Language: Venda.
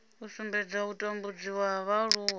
u sumbedza u tambudziwa ha vhaaluwa